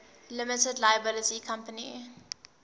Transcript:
limited liability company